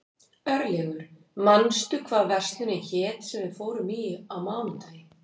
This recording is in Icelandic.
Örlygur, manstu hvað verslunin hét sem við fórum í á mánudaginn?